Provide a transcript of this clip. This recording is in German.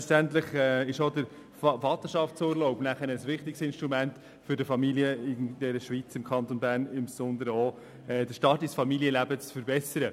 Selbstverständlich ist dieser Vorstoss wie auch der Vaterschaftsurlaub ein wichtiges Instrument, um den Start der Familie in der Schweiz und insbesondere auch im Kanton Bern zu verbessern.